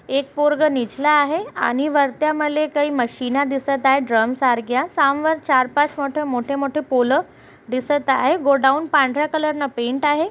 एक पोरग निजला आहे आणि वरत्या मले काही मशीन दिसत आहेत ड्रम सारख्या सामवर चार-पाच मोठे मोठे पोल दिसत आहेत गोडाउन पांढर्‍या कलर ने पेंट आहे.